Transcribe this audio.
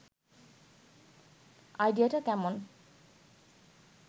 আইডিয়াটা কেমন